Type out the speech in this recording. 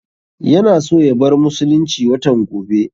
Yana so ya bar musulunci watan gobe